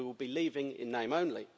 we will be leaving in name only.